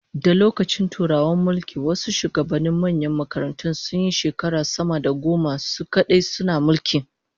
Da lokacin Turawan mulki, wasu shugabannin manyan makarantun sunyi shekara sama da goma su kadai suna mulki